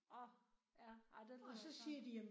Åh ja ej det lyder ikke rart